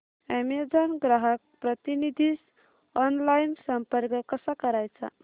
Amazon ग्राहक प्रतिनिधीस online संपर्क कसा करायचा